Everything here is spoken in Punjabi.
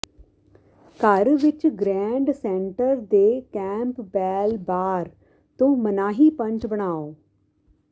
ਘਰ ਵਿਚ ਗ੍ਰੈਂਡ ਸੈਂਟਰ ਦੇ ਕੈਂਪਬੈਲ ਬਾਰ ਤੋਂ ਮਨਾਹੀ ਪੰਚ ਬਣਾਉ